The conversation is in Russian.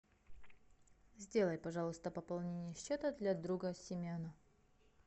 сделай пожалуйста пополнение счета для друга семена